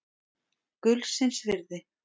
Gullsins virði.